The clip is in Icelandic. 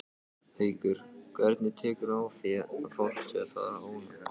Haukur: Hvernig tekurðu á því þegar fólk er óánægt?